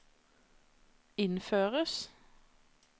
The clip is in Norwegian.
innføres